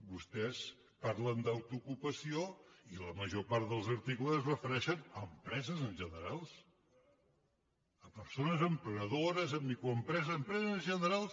vostès parlen d’autoocupació i la major part dels articles es refereixen a empreses en general a persones emprenedores a microempreses a empreses en general